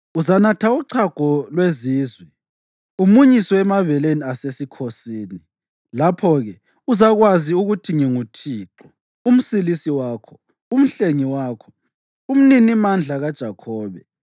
Uzanatha uchago lwezizwe, umunyiswe emabeleni asesikhosini. Lapho-ke uzakwazi ukuthi nginguThixo, uMsilisi wakho, uMhlengi wakho, uMninimandla kaJakhobe.